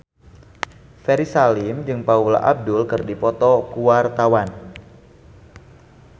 Ferry Salim jeung Paula Abdul keur dipoto ku wartawan